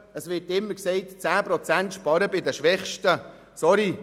Es wird immer gesagt, es würden 10 Prozent bei den Schwächsten gespart.